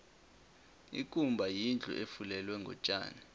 ikumba yindlu efulelwe ngotjani